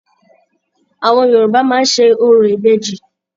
Àwọn Yorùbá máa ń ṣe orò ìbejì.